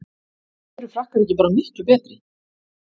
Eru Frakkar ekki bara miklu betri?